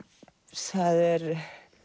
það eru